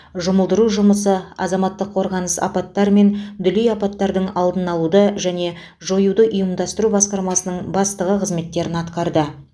жұмылдыру жұмысы азаматтық қорғаныс апаттар мен дүлей апаттардың алдын алуды және жоюды ұйымдастыру басқармасының бастығы қызметтерін атқарды